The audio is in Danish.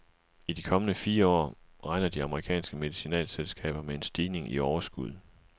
I de kommende fire år regner de amerikanske medicinalselskaber med en stigning i overskuddet.